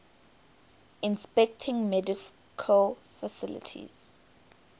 inspecting medical facilities